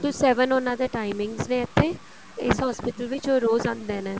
to seven ਉਹਨਾ ਦਾ timings ਨੇ ਇੱਥੇ ਇਸ hospital ਵਿੱਚ ਉਹ ਰੋਜ਼ ਆਉਦੇ ਨੇ